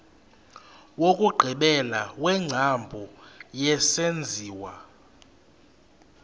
wokugqibela wengcambu yesenziwa